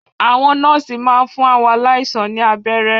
Àwọn nọ́ọ̀sì máa n fún àwọn aláìsàn ní abẹ́rẹ́